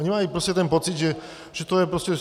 Oni mají ten pocit, že to je prostě...